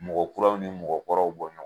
Mɔgɔ kuraw ni mɔgɔ kɔrɔw bɔ ɲɔn